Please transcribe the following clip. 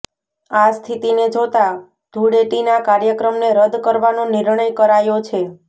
આ સ્થિતિને જોતા ઘૂળેટીના કાર્યક્રમને રદ કરવાનો નિર્ણય કરાયો છે